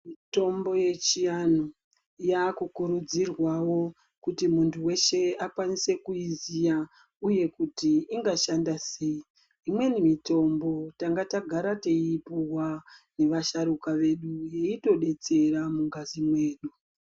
Mitombo yechiandu yakukurudzirwawo kuti muntu weshe akwanise kuiziya uye kuti ingashanda sei , imweni mitombo tangatagara teiipuwa nevasharuka vedu yeitodetsera mungazi mwedu.